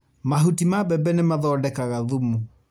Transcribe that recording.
Mahuti ma mbembe nĩ mathondekaga thumu.